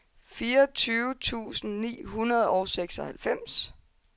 fireogtyve tusind ni hundrede og seksoghalvfems